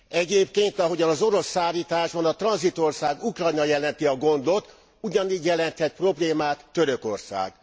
Egyébként, ahogyan az orosz szállításban a tranzitország, Ukrajna jelenti a gondot, ugyanígy jelenthet problémát Törökország.